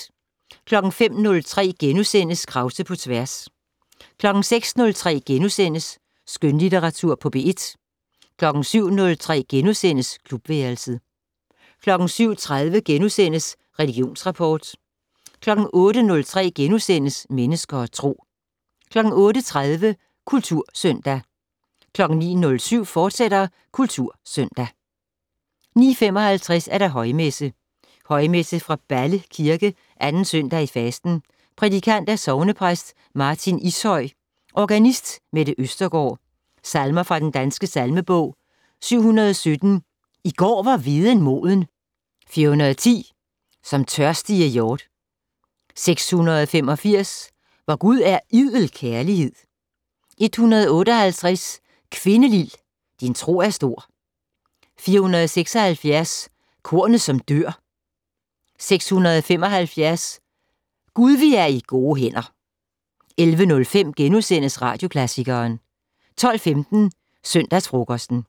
05:03: Krause på tværs * 06:03: Skønlitteratur på P1 * 07:03: Klubværelset * 07:30: Religionsrapport * 08:03: Mennesker og Tro * 08:30: Kultursøndag 09:07: Kultursøndag, fortsat 09:55: Højmesse - Højmesse fra Balle Kirke. 2. søndag i fasten. Prædikant: Sognepræst Martin Ishøy. Organist: Mette Østergaard. Salmer fra Den Danske Salmebog: 717 "I går var hveden moden". 410 "Som tørstige hjort". 685 "Vor Gud er idel kærlighed". 158 "Kvindelil din tro er stor". 476 "Kornet som dør". 675 "Gud vi er i gode hænder". 11:05: Radioklassikeren * 12:15: Søndagsfrokosten